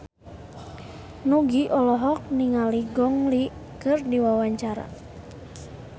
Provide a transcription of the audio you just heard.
Nugie olohok ningali Gong Li keur diwawancara